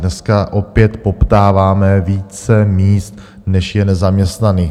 Dneska opět poptáváme více míst, než je nezaměstnaných.